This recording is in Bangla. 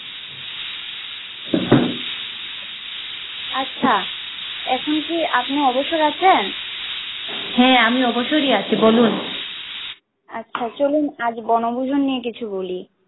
আচ্ছা এখন কি আপনি অবসরে আছেন হ্যা আমি অবসারী আছি বলুন আচ্ছা চলুন আজ বনভুজন নিয়ে কিছু বলি।